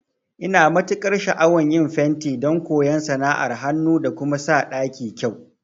Ina matukar sha'awan yin fenti don koyan sana'ar hanu da kuma sa ɗaki kyau